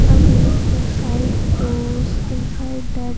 Are going inside those inside that --